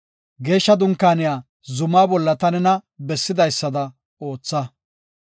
Geeshsha Dunkaaniya zumaa bolla ta nena bessidaysada ootha.